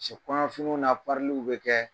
kɔɲɔfiniw na bɛ kɛ,